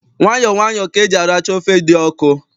Nwayọ nwayọ ka eji aracha ofe dị ọkụ.